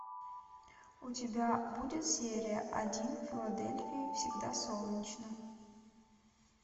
у тебя будет серия один в филадельфии всегда солнечно